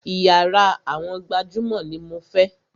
Iyàrá àwọn gbajúmọ̀ ní mo fẹ́!